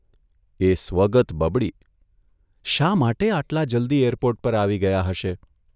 એ સ્વગત બબડીઃ ' શા માટે આટલા જલ્દી એરપોર્ટ પર આવી ગયા હશે?